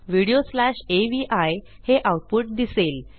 video slash AVI हे output दिसेल